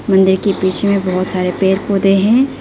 मंदिर के पीछे में बहुत सारे पेड़ पौधे हैं।